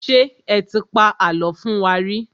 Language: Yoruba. Ṣé ẹ ti pa àlọ́ fún wa rí?